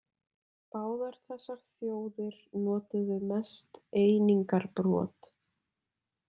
Báðar þessar þjóðir notuðu mest einingarbrot.